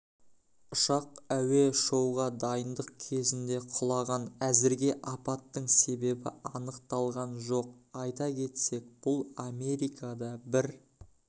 ұшақ әуе-шоуға дайындық кезінге құлаған әзірге апаттың себебі анықталған жоқ айта кетсек бұл америкада бір